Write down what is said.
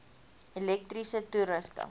elektriese toerusting